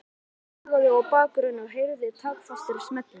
Hann þagði og í bakgrunni heyrðust taktfastir smellir.